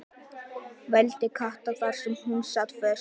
vældi Kata þar sem hún sat föst.